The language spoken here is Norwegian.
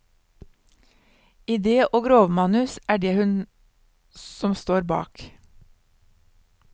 Idé og grovmanus er det hun som står bak.